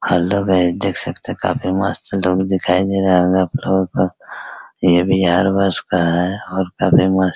hello guys देख सकते है काफी मस्त लुक दिखाई दे रहा होगा आप लोगो को यह बिहार बस का है और काफी मस्त --